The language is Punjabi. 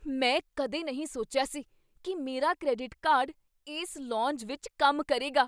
ਮੈਂ ਕਦੇ ਨਹੀਂ ਸੋਚਿਆ ਸੀ ਕੀ ਮੇਰਾ ਕ੍ਰੈਡਿਟ ਕਾਰਡ ਇਸ ਲੌਂਜ ਵਿੱਚ ਕੰਮ ਕਰੇਗਾ!